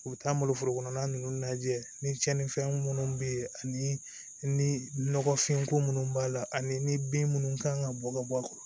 U bɛ taa n bolo forokɔnɔna ninnu lajɛ ni tiɲɛnifɛn minnu bɛ yen ani ni nɔgɔfin ko minnu b'a la ani bin minnu kan ka bɔ ka bɔ a kɔrɔ